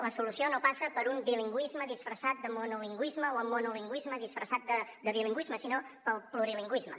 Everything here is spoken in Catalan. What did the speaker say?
la solució no passa per un bilingüisme disfressat de monolingüisme o el monolingüisme disfressat de bilingüisme sinó pel plurilingüisme